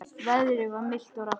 Veðrið var milt og rakt.